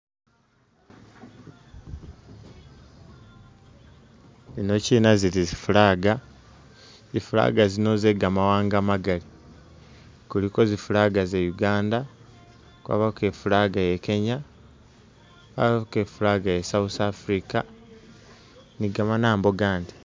Zino china zili zi flag, zi flag zino ze gamawaanga magali kuliko zi flag ze Uganda kwabako i flag ya Kenya kwabako i flag ya South Africa ni gamanambo gandi